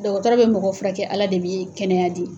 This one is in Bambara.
Dɔgɔtɔrɔ be mɔgɔ furakɛ, Ala de bi kɛnɛya di.